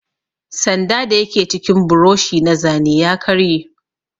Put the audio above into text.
Sanda dayake cikin buroshi na zane ya karye.